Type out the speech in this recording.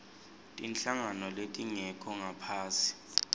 tinhlangano letingekho ngaphasi